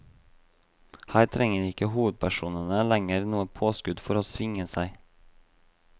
Her trenger ikke hovedpersonene lenger noe påskudd for å svinge seg.